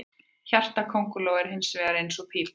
Hjarta köngulóa er hins vegar eins og pípa.